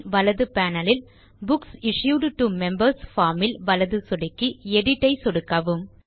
பின் வலது பேனல் இல் books issued to members form ல் வலது சொடுக்கி எடிட் ஐ சொடுக்கவும்